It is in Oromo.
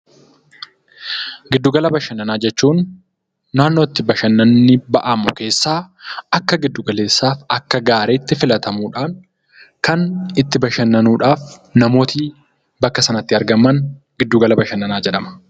Giddu gala bashannanaa jechuun naannoo itti bashannanni ba'amu keessaa akka akka giddu galeessaa akka gaariitti filatamuudhaan kan itti bashannanuudhaaf namooti bakka sanatti argaman giddu gala bashannanaa jedhama.